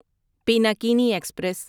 Pinakini express